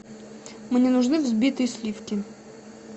мне нужны взбитые сливки